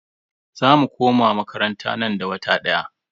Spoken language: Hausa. Za mu koma makaranta nan da wata daya.